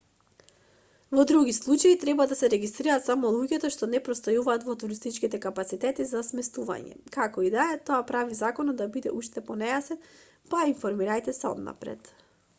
во други случаи треба да се регистрираат само луѓето што не престојуваат во туристичките капацитети за сместување како и да е тоа прави законот да биде уште понејасен па информирајте се однапред